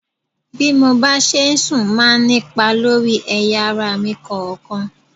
Bí mo bá ṣe sùn máa ní ipa lórí ẹ̀yà ara mi kọ̀ọ̀kan.